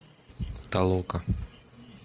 толока